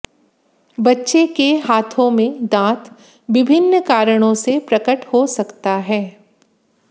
बच्चे के हाथों में दांत विभिन्न कारणों से प्रकट हो सकता है